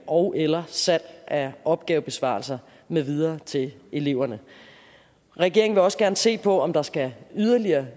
ogeller salg af opgavebesvarelser med videre til eleverne regeringen vil også gerne se på om der skal yderligere